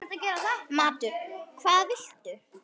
Matur: Hvað viltu?